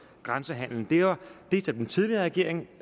grænsehandelen det var det som den tidligere regering